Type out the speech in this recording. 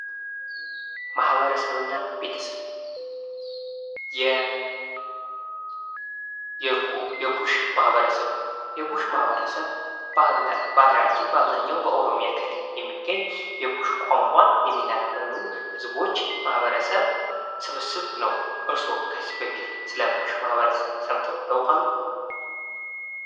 ማህበረሰብ እና ቤተሰብ፡-የኩሽ ማህበረሰብ በሀገራችን በአብዛኛው በኦሮሚያ ክልል የሚገኝ የኩሽ ቋንቋ የሚናገሩ ህዝቦች ማህበረሰብ ስብስብ ነው ።እርስዎ ከዚህ በፊት ስለ ኩሽ ማህበረሰብ ሰምተው ያውቃሉ?